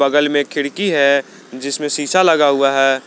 बगल में खिड़की है जिसमें शीशा लगा हुआ है।